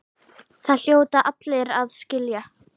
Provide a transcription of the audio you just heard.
Það hljóta allir að skilja.